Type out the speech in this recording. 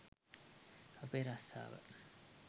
අපේ රස්සාව.